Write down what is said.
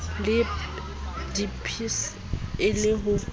le dpsa e le ho